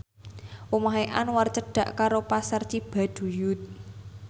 omahe Anwar cedhak karo Pasar Cibaduyut